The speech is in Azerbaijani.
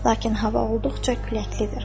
Lakin hava olduqca küləklidir.